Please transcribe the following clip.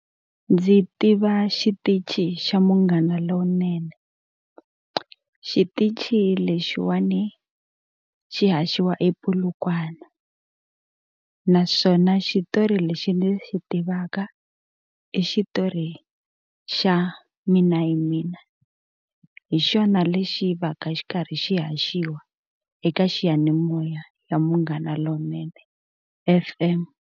Ndzi tiva xitichi xa Munghana Lonene xitichi lexiwani xi haxiwa ePolokwane naswona xitori lexi ni xi tivaka i xitori xa Mina hi Mina hi xona lexi va ka xi karhi xi haxiwa eka xiyanimoya xa Munghana Lonene F_M.